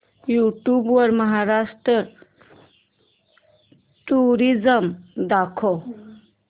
YouTube वर Maharashtra tourism दाखव